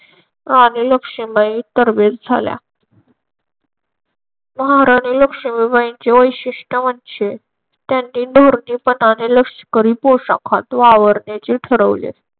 राणी लक्ष्मीबाई तरबेज झाल्या. महाराणी लक्ष्मीबाईचे वैशिष्ट्य म्हणजे त्यांनी धोरणीपणाने लष्करी पोशाखात वावरण्याचे ठरवले.